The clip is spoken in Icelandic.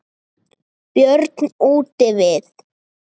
Björn útivið.